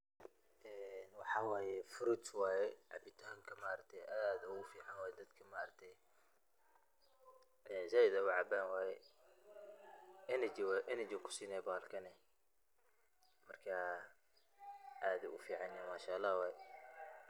Een waxa waye fruits waye, cabitanka maarkateye aad ogu fican waye dadka maarakte ,ay zaid ucaban waye, energy ayu kusinay balahkani, marka aad ayu uficanyehe manshaalax waye.